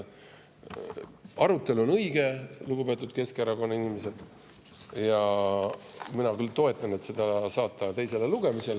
Arutelu on õige, lugupeetud Keskerakonna inimesed, ja mina küll toetan seda, et saata see teisele lugemisele.